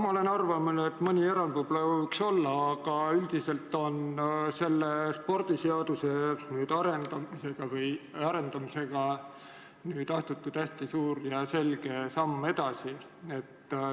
Ma olen arvamusel, et mõni erand võib-olla võiks olla, aga üldiselt on spordiseaduse arendamisega astutud hästi suur ja selge samm edasi.